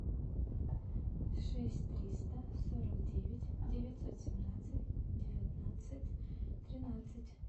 шесть триста сорок девять девятьсот семнадцать девятнадцать тринадцать